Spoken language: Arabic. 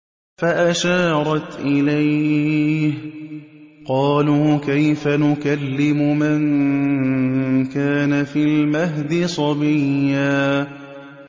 فَأَشَارَتْ إِلَيْهِ ۖ قَالُوا كَيْفَ نُكَلِّمُ مَن كَانَ فِي الْمَهْدِ صَبِيًّا